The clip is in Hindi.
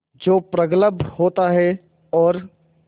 जो प्रगल्भ होता है और